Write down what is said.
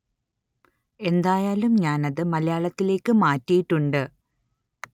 എന്തായാലും ഞാന്‍ അത് മലയാളത്തിലേക്ക് മാറ്റിയിട്ടുണ്ട്